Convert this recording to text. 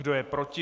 Kdo je proti?